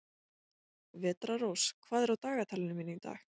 Vetrarrós, hvað er á dagatalinu mínu í dag?